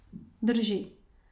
Drži.